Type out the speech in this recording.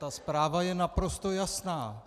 Ta zpráva je naprosto jasná.